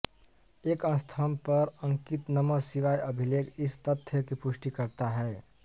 एक स्तंभ पर अंकित नमः शिवाय अभिलेख इस तथ्य की पुष्टि करता है